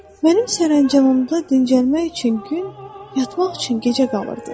Mənim sərəncamımda dincəlmək üçün gün, yatmaq üçün gecə qalırdı.